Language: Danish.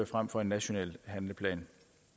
frem for en national handleplan